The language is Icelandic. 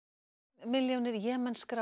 milljónir